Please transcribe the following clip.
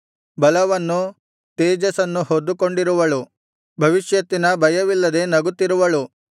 ಬಲವನ್ನು ತೇಜಸ್ಸನ್ನು ಹೊದ್ದುಕೊಂಡಿರುವಳು ಭವಿಷ್ಯತ್ತಿನ ಭಯವಿಲ್ಲದೆ ನಗುತ್ತಿರುವಳು